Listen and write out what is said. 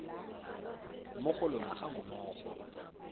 mo go lona ga mmogo